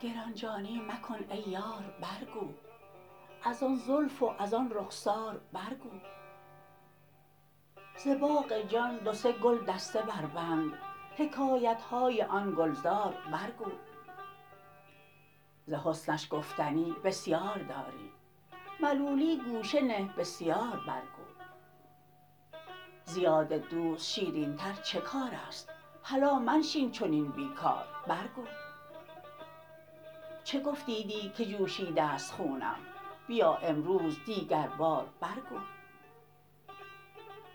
گران جانی مکن ای یار برگو از آن زلف و از آن رخسار برگو ز باغ جان دو سه گلدسته بربند حکایت های آن گلزار برگو ز حسنش گفتنی بسیار داری ملولی گوشه نه بسیار برگو ز یاد دوست شیرینتر چه کار است هلا منشین چنین بی کار برگو چه گفتی دی که جوشیده ست خونم بیا امروز دیگربار برگو